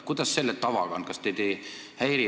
Kuidas selle tavaga on?